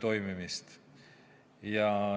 toimimist.